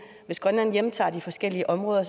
hvis grønland hjemtager de forskellige områder